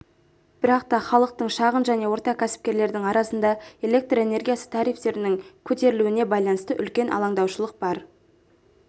бірақ та халықтың шағын және орта кәсіпкерлердің арасында электр энергиясы тарифтерінің көтерілуіне байланысты үлкен алаңдаушылық бар